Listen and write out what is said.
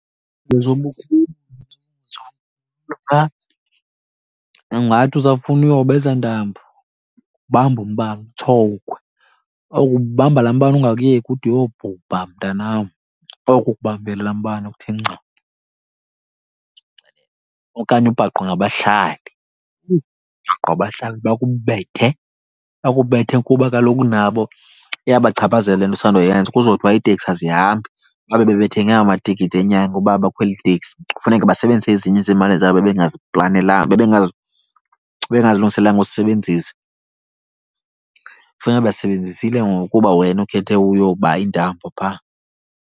Ungathi usafuna uyoba eza ntambo ubambe umbane utshowukwe. Uya kubamba laa mbane ungakuyeki ude uyobhubha mntanam, oko ukubambile laa mbane ukuthe nca. Okanye ubhaqwe ngabahlali, ubhaqwe ngabahlali bakubethe, bakubethe kuba kaloku nabo iyabachaphazela le nto usandoyenza. Kuzothiwa iiteksi azihambi babe bebethenge amatikiti enyanga uba bakhwele iiteksi. Kufuneke basebenzise ezinye zeemali zabo bebengazilungiselanga uzisebenzisa, kufuneke bezisebenzisile ngoku kuba wena ukhethe uyoba iintambo phaa.